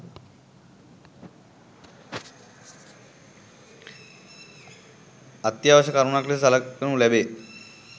අත්‍යවශ්‍ය කරුණක් ලෙස සලකනු ලැබේ.